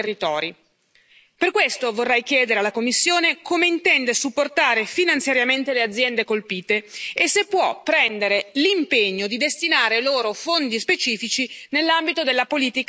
Per questo vorrei chiedere alla Commissione come intende supportare finanziariamente le aziende colpite e se può prendere l'impegno di destinare loro fondi specifici nell'ambito della politica agricola comune.